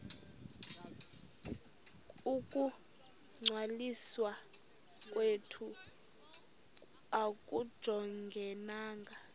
ukungcwaliswa kwethu akujongananga